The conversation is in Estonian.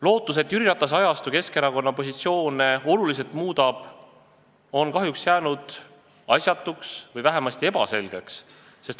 Lootus, et Jüri Ratase ajastu Keskerakonna positsioone oluliselt muudab, on kahjuks jäänud alusetuks või vähemasti on nende seisukoht ebaselge.